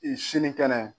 sini kɛnɛ